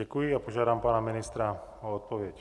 Děkuji a požádám pana ministra o odpověď.